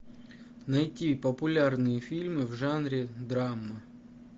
найти популярные фильмы в жанре драма